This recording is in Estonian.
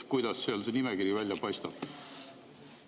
Kuidas seal see nimekiri välja paistab?